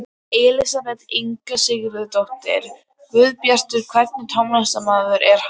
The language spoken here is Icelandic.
Elísabet Inga Sigurðardóttir: Guðbjartur, hvernig tónlistarmaður er hann?